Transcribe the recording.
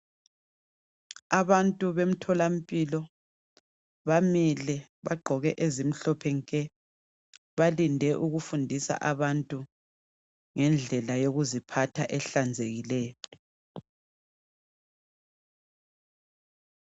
Abantu bemtholampilo, bamile bagqoke ezimhlophe nke. Balinde ukufundisa abantu ngendlela yokuziphatha ehlanzekileyo.